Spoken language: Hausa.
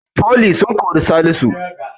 Foli sun kori salisu